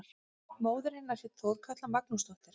Móðir hennar hét Þorkatla Magnúsdóttir.